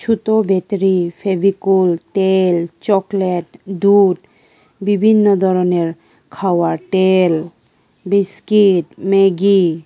ছোত battery Fevicol তেল chocolate দুধ বিভিন্ন ধরনের খাওয়ার তেল বিস্কিট ম্যাগি।